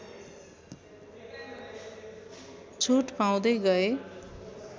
छुट पाउँदै गए